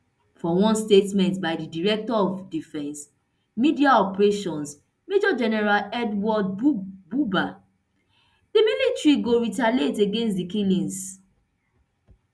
for one statement by di director of defence media operations major general edward buba di military go retaliate against di killings